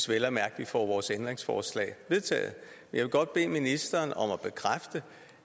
vel at mærke får vores ændringsforslag vedtaget jeg vil godt bede ministeren om